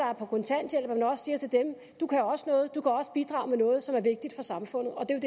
er på kontanthjælp du kan også noget du kan også bidrage med noget som er vigtigt for samfundet og det er